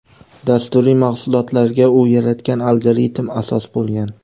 dasturiy mahsulotlarga u yaratgan algoritm asos bo‘lgan.